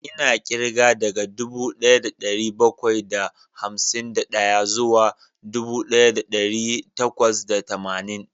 Ina kirga daga dubu daya da dari bakwai da hamsin da daya zuwa dubu daya da dari takwas da tamanin